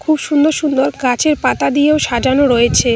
খুব সুন্দর সুন্দর গাছের পাতা দিয়েও সাজানো রয়েছে।